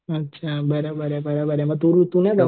अच्छा बराबर आहे बरोबर आहे मग तू